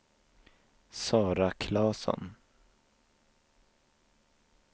Sara Klasson